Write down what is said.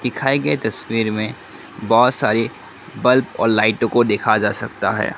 दिखाई गए तस्वीर में बहुत सारी बल्ब और लाइटो को देखा जा सकता है।